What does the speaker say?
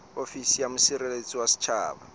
ofisi ya mosireletsi wa setjhaba